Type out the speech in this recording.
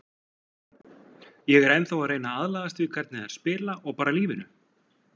Ég er ennþá að reyna að aðlagast því hvernig þær spila og bara lífinu.